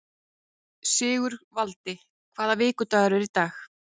Sigurvaldi, hvaða vikudagur er í dag?